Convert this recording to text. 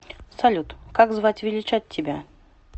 салют как звать величать тебя